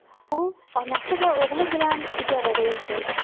U onasi va o‘g‘li bilan ijarada yashaydi.